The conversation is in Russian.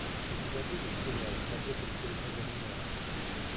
у тебя будет сериал побег из тюрьмы даннемора